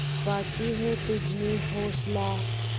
बाक़ी है तुझमें हौसला